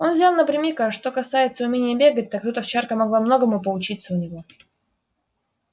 он взял напрямик а уж что касается умения бегать так тут овчарка могла многому поучиться у него